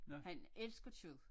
Han elsker kød